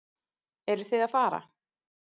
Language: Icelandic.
Eruð þið að fara?